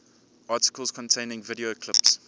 articles containing video clips